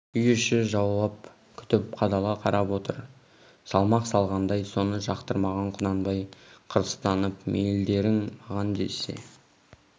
үй іші жауап күтіп қадала қарап отыр салмақ салғандай соны жақтырмаған құнанбай қырыстанып мейілдерің маған десе